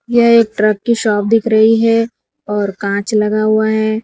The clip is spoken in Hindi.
यह एक ट्रक की शॉप दिख रही है और कांच लगा हुआ है।